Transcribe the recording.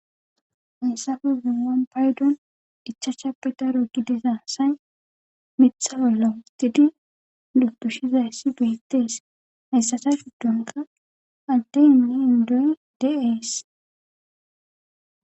Hayssafezumwan paydon dichacha pidaro gidesaa say mitha hollo tidi dutushizaysssi biittees hayssasa fuddonka ante inni indoy deees.